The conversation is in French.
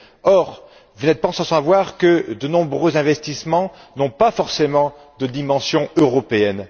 Or, vous n'êtes pas sans savoir que de nombreux investissements n'ont pas forcément de dimension européenne.